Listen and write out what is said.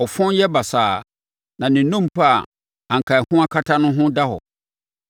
ɔfɔn yɛ basaa, na ne nnompe a anka ɛho akata no ho da hɔ.